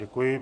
Děkuji.